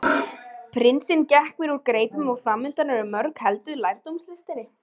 Prinsinn gekk mér úr greipum og framundan eru mörg ár helguð lærdómslistinni.